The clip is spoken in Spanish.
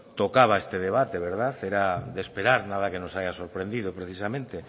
tocaba este debate era de esperar nada que nos haya sorprendido precisamente